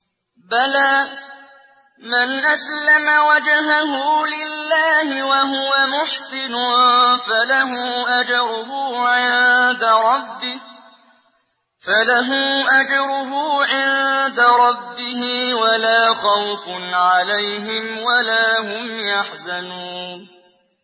بَلَىٰ مَنْ أَسْلَمَ وَجْهَهُ لِلَّهِ وَهُوَ مُحْسِنٌ فَلَهُ أَجْرُهُ عِندَ رَبِّهِ وَلَا خَوْفٌ عَلَيْهِمْ وَلَا هُمْ يَحْزَنُونَ